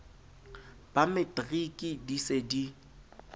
ba matriki di se di